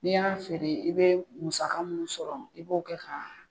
N'i y'a feere, i be musaka mun sɔrɔ i b'o kɛ ka